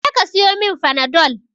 Je ka siyomin fanadol